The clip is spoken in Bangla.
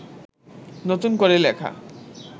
নতুন করে লেখা